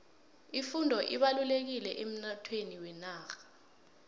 ifundo ibalulekile emnothweni wenarha